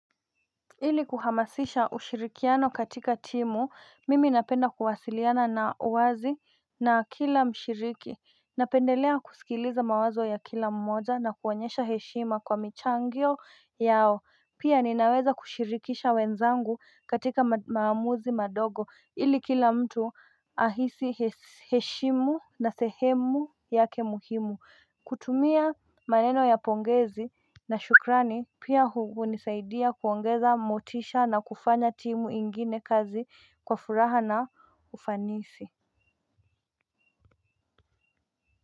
Ili kuhamasisha ushirikiano katika timu, mimi napenda kuwasiliana na uwazi na kila mshiriki Napendelea kusikiliza mawazo ya kila mmoja na kuonyesha heshima kwa michangyo yao Pia ninaweza kushirikisha wenzangu katika maamuzi madogo, ili kila mtu ahisi heshimu na sehemu yake muhimu kutumia maneno ya pongezi na shukrani pia huni saidia kuongeza motisha na kufanya timu ingine kazi kwa furaha na ufanisi.